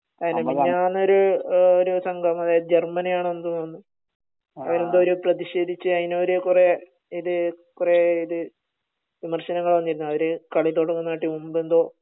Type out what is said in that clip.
അതെ മിനിയാന്ന് ഒരു അഹ് ഒരു സംഭവം അതായത് ജർമ്മനി ആണെന്ന് തോനുന്നു അവര് എന്തോ ഒരു പ്രധിഷേധിച്ച് അതിനിവർ കൊറേ ഇത് വിമർശനങ്ങൾ വന്നിരുന്നു അവർ കളി തൊടങ്ങുന്നട്ടിം മുമ്പ് എന്തോ